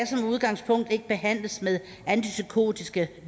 udgangspunkt ikke behandles med antipsykotiske